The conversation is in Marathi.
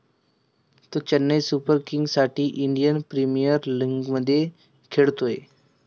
तो चेन्नई सुपर किंगसाठी इंडियन प्रीमियर लिगमध्ये खेळतो.